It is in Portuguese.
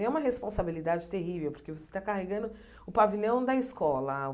E é uma responsabilidade terrível, porque você está carregando o pavilhão da escola.